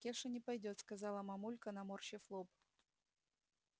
кеша не пойдёт сказала мамулька наморщив лоб